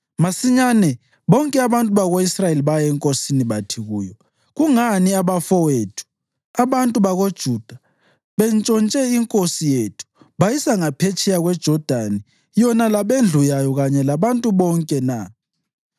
Masinyane bonke abantu bako-Israyeli baya enkosini bathi kuyo, “Kungani abafowethu, abantu bakoJuda, bentshontshe inkosi yethu bayisa ngaphetsheya kweJodani yona labendlu yayo kanye labantu bonke na?”